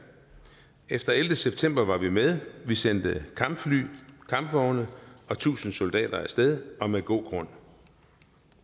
efter den ellevte september var vi med vi sendte kampfly kampvogne og tusind soldater af sted og med god grund